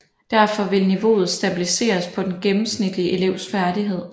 Derfor vil niveauet stabiliseres på den gennemsnitlige elevs færdighed